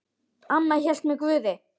Amma hélt með Guði.